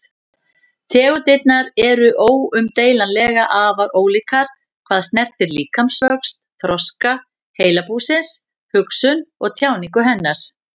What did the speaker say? Tegundirnar eru óumdeilanlega afar ólíkar hvað snertir líkamsvöxt, þroska heilabúsins, hugsun og tjáningu hennar.